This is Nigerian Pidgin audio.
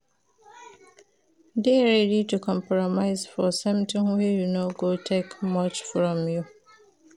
De ready to compromise for something wey no go take much from you